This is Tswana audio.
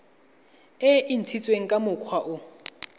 e ntshitsweng ka mokgwa o